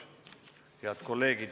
Head kolleegid, istung on lõppenud.